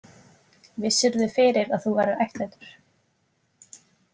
Vissirðu fyrir að þú værir ættleiddur?